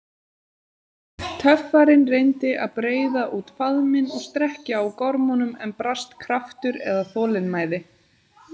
Töffarinn reyndi að breiða út faðminn og strekkja á gormunum, en brast kraftur eða þolinmæði.